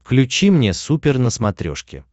включи мне супер на смотрешке